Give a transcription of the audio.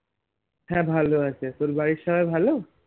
হ্যাঁ ভালো আছে তোর বাড়ির সবাই ভালো